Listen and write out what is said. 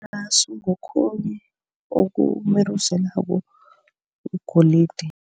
Irasu ngokhunye okumeruzelako igolide.